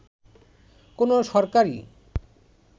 “কোন সরকারই